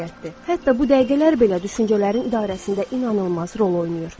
Hətta bu dəqiqələr belə düşüncələrin idarəsində inanılmaz rol oynayır.